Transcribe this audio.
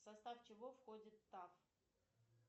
в состав чего входит таф